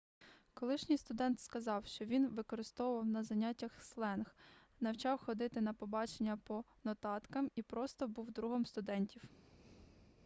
колишній студент сказав що він використовував на заняттях сленг навчав ходити на побачення по нотаткам і просто був другом студентів